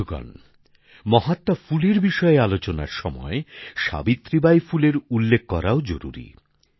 বন্ধুগণ মহাত্মা ফুলের বিষয়ে আলোচনার সময় সাবিত্রী বাই ফুলের উল্লেখ করাও জরুরী